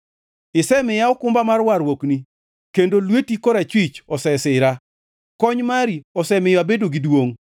Isemiya okumba mar warruokni, kendo lweti korachwich osesira; kony mari osemiyo abedo gi duongʼ.